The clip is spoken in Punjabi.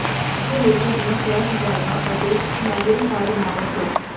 ਦੂਜੇ ਲੋਕਾਂ ਦੀਆਂ ਫਲੈਸ਼ ਡਰਾਈਵਾਂ ਅਤੇ ਮੈਮੋਰੀ ਕਾਰਡ ਨਾ ਵਰਤੋ